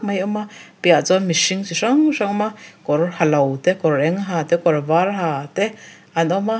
mai a awm a piaha chuan mihring chi hrang hrang an awm a kawr halo te kawr eng ha te kawr var ha te an awm a.